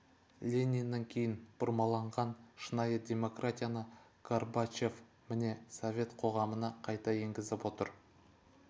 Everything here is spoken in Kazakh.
лениннен кейін бұрмаланған шынайы демократияны горбачев міне совет қоғамына қайта енгізіп отыр